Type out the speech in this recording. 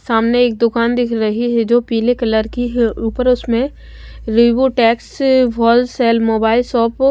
सामने एक दुकान दिख रही है जो पीले कलर की है ऊपर उसमें रेबो टैक्स होलसेल मोबाइल शॉप --